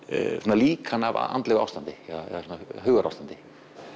líkan af andlegu ástandi hugarástandi